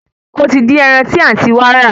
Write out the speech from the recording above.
Ó ti dín ẹran tí àǹtí wa rà